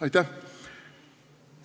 Aitäh!